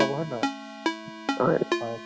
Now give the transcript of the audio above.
বহুত খিনি develop হৈ গʼল তো ।